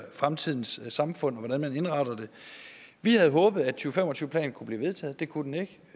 fremtidens samfund og hvordan vi indretter det vi havde håbet at to fem og tyve planen kunne blive vedtaget det kunne den ikke